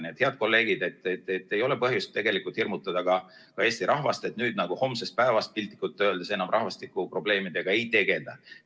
Nii et, head kolleegid, ei ole põhjust hirmutada ka Eesti rahvast, et nüüd homsest päevast piltlikult öeldes enam rahvastikuprobleemidega ei tegelda.